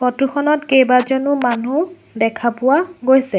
Photo খনত কেইবাজনো মানুহ দেখা পোৱা গৈছে।